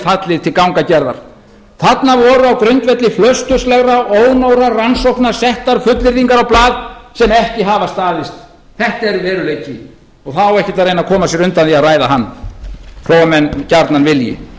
fallið til gangagerðar þarna voru á grundvelli flausturslegra ónógra rannsókna settar fullyrðingar á blað sem ekki hafa staðist þetta er veruleikinn og það á ekkert að koma sér undan að ræða hann þó að menn gjarnan vilji